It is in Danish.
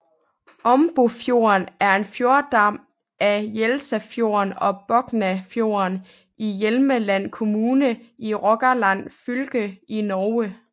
Ombofjorden er en fjordarm af Jelsafjorden og Boknafjorden i Hjelmeland kommune i Rogaland fylke i Norge